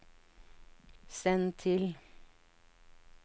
send til